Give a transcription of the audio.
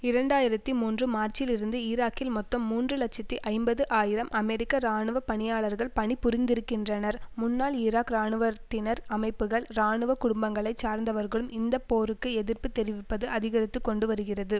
இரண்டாயிரத்தி மூன்று மார்ச்சிலிருந்து ஈராக்கில் மொத்தம் மூன்று இலட்சத்தி ஐம்பது ஆயிரம் அமெரிக்க இராணுவ பணியாளர்கள் பணி புரிந்திருக்கிறன்றனர் முன்னாள் ஈராக் இராணுவத்தினர் அமைப்புகள் இராணுவ குடும்பங்களை சார்ந்தவர்களும் இந்த போருக்கு எதிர்ப்பு தெரிவிப்பது அதிகரித்து கொண்டுவருகிறது